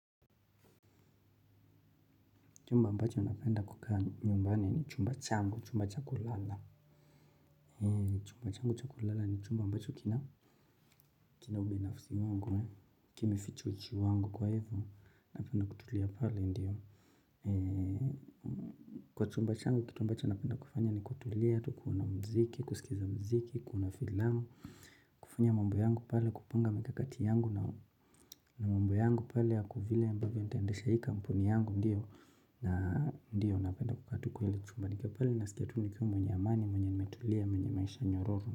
Chumba ambacho napenda kukaa nyumbani ni chumba changu, chumba cha kulala. Chumba changu cha kulala ni chumba ambacho kina ubinafsi wangu. Kimeficha uchi wangu kwa hivyo, napenda kutulia pale ndio. Kwa chumba changu, kitu ambacho napenda kufanya ni kutulia, tu kuona mziki, kusikiza mziki, kuona filamu. Kufanya mambo yangu pale, kupanga mikakati yangu na mambo yangu pale, ya vile ambavyo nitaendesha hii kampuni yangu ndio. Na ndio napenda kukaa tu kwa ile chumba nikiwa pale. Nasikia tu nikiwa mwenye amani, mwenye nimetulia, mwenye maisha nyororo.